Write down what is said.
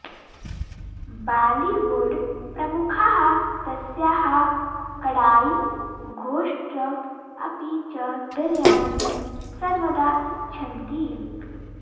बालिवुड् प्रमुखाः तस्याः कडायि घोस्ट् अपि च बिर्यानि सर्वदा इच्छन्ति